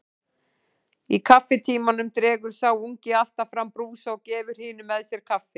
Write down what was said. Í kaffitímanum dregur sá ungi alltaf fram brúsa og gefur hinum með sér kaffi.